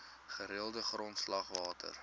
gereelde grondslag water